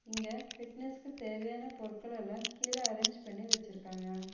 இங்க ஃபிட்னஸ்க்கு தேவையான பொருட்கள் எல்லா கீழ அரேஞ்ச் பண்ணி வச்சிருக்காங்க.